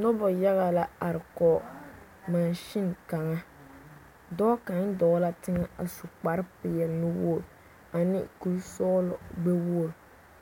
Noba yaga la are kɔge mansini kaŋa dɔɔ kaŋa dɔɔ la teŋɛ a su kpare peɛle nu-wogiri ane kuri-sɔɔlɔ gbɛ-wogiri